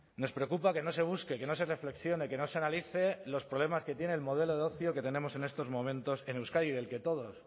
nos preocupa que no se busque que no se reflexione que no se analice los problemas que tiene el modelo de ocio que tenemos en estos momentos en euskadi del que todos